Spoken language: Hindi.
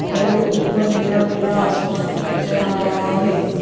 और ऊपर नीला नीला आसमान भी नजर आ रहा है।